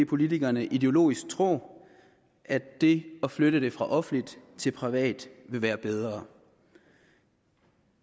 politikerne ideologisk tror at det at flytte det fra offentligt til privat vil være bedre